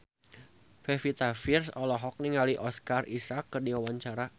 Pevita Pearce olohok ningali Oscar Isaac keur diwawancara